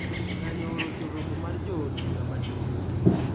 Ng`anyo orocho romo mar jo od bura maduong`